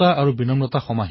হৰাজিকা ডাঙৰ কথা নহয়